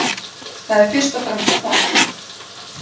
Það er fyrst og fremst það